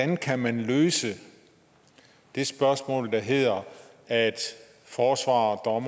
man kan løse det spørgsmål der hedder at forsvarere og